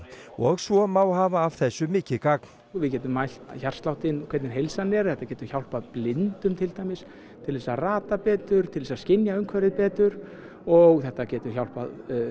og svo má hafa af þessu mikið gagn við getum mælt hjartsláttinn og hvernig heilsan er þetta getur hjálpað blindum til dæmis til þess að rata betur til þess að skynja umhverfið betur og þetta getur hjálpað